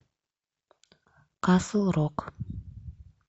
касл рок